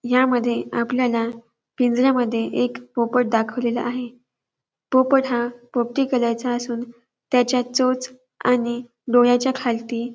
यामध्ये आपल्याला पिंजऱ्यामध्ये एक पोपट दाखवलेला आहे पोपट हा पोपटी कलर चा असून त्याच्या चोच आणि डोळ्याच्या खालती --